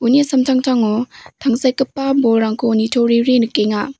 uni samtangtango tangsekgipa bolrangko nitoriri nikenga.